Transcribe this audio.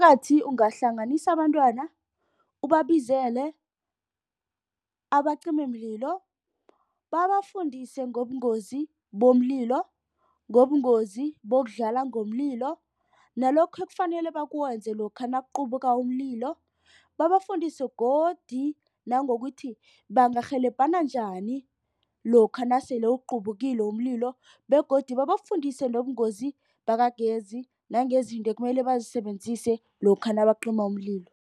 Ungahlanganisa abantwana ubabizele abacimimlilo. Babafundise ngobungozi bomlilo, ngobungozi bokudlala ngomlilo, nalokhu ekufanele bakwenze lokha nakuquphuka umlilo. Babafundise godu nangokuthi bangarhelebhena njani lokha nasele uqubukile umlilo begodu babafundise nobungozi bakagezi nangezinto ekumele bazisebenzise lokha nabacima umlilo.